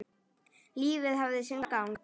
Lífið hafði sinn gang.